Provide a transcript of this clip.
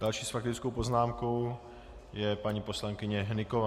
Další s faktickou poznámkou je paní poslankyně Hnyková.